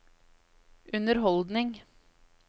underholdning